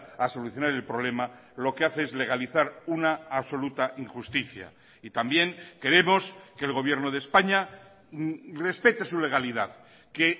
a solucionar el problema lo que hace es legalizar una absoluta injusticia y también queremos que el gobierno de españa respete su legalidad que